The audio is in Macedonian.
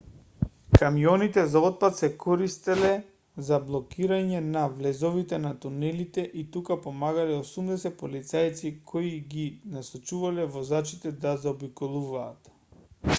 камионите за отпад се користеле за блокирање на влезовите на тунелите и тука помагале 80 полицајци кои ги насочувале возачите да заобиколуваат